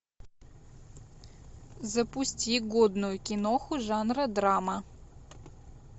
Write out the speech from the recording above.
запусти годную киноху жанра драма